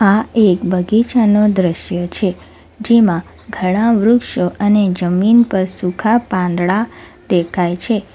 આ એક બગીચાનો દ્રશ્ય છે જેમાં ઘણા વૃક્ષો અને જમીન પર સૂખા પાંદડા દેખાય છે.